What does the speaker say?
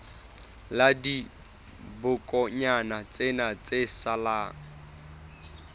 la dibokonyana tsena tse salang